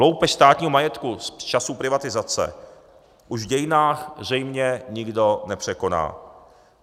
Loupež státního majetku z časů privatizace už v dějinách zřejmě nikdo nepřekoná.